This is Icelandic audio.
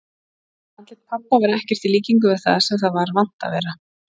Andlit pabba var ekkert í líkingu við það sem það var vant að vera.